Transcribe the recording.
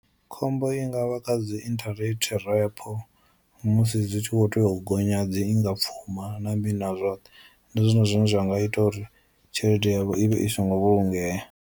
Khombo i ngavha kha dzi interate rapoo musi zwi tshi kho tea u gonya dzi inga pfuma na mini na zwoṱhe ndi zwone zwine zwa nga ita uri tshelede yavho i vhe i songo vhulungea.